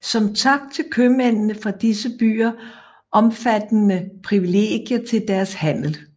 Som tak fik købmændene fra disse byer omfattende privilegier til deres handel